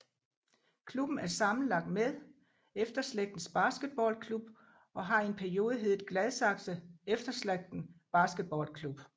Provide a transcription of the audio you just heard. Klubben er sammenlagt med Efterslægtens Basketballklub og har i en periode heddet Gladsaxe Efterslægten Basketballklub